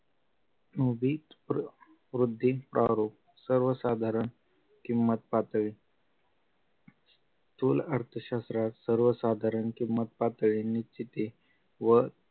मुबित वृद्धी प्रारोग सर्वसाधारण किंमत पातळी स्थूल अर्थशास्त्रात सर्वसाधारण किंमत पातळणि ची व